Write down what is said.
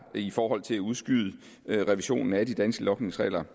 i forhold til at udskyde revisionen af de danske logningsregler